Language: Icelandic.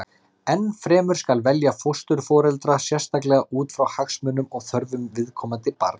Enn fremur skal velja fósturforeldra sérstaklega út frá hagsmunum og þörfum viðkomandi barns.